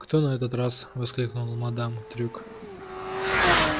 кто на этот раз воскликнула мадам трюк